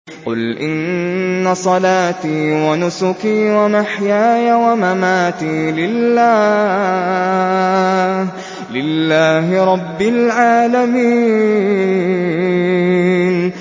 قُلْ إِنَّ صَلَاتِي وَنُسُكِي وَمَحْيَايَ وَمَمَاتِي لِلَّهِ رَبِّ الْعَالَمِينَ